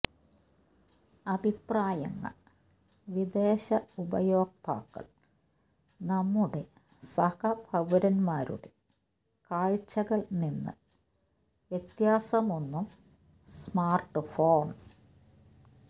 അഭിപ്രായങ്ങൾ വിദേശ ഉപയോക്താക്കൾ നമ്മുടെ സഹ പൌരന്മാരുടെ കാഴ്ചകൾ നിന്ന് വ്യത്യാസമൊന്നും സ്മാർട്ട്ഫോൺ